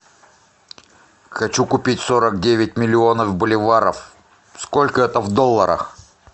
хочу купить сорок девять миллионов боливаров сколько это в долларах